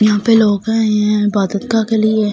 यहाँ पे लोग आये हुए है के लिए ।